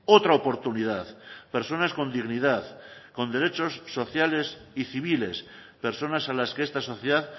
otra oportunidad personas con dignidad con derechos sociales y civiles personas a las que esta sociedad